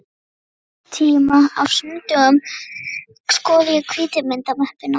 Og þennan tíma á sunnudögum skoða ég hvítu myndamöppuna.